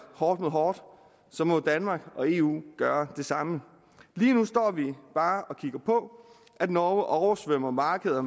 hårdt mod hårdt må danmark og eu gøre det samme lige nu står vi bare kigger på at norge oversvømmer markeder